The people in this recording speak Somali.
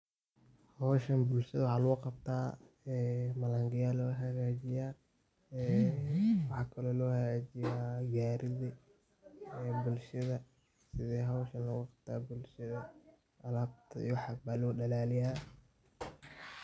Howshaan bulshada waxa lugu qabta ee mlango ya lagu haagajiiya, maxa kaalo lagu hagaajiiya gari idha bulshada, sidha howshaan lagu qabta bulshada alabta iyo waxaas baa lo dhalaliya.